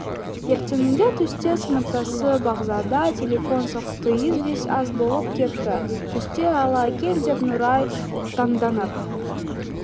ертеңінде түсте сыныптасы бағзада телефон соқты известь аз болып кетті түсте ала кел деп нұрай таңданып